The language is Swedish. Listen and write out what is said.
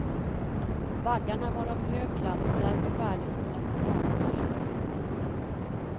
Baggarna var av hög klass och därför värdefulla som avelsdjur.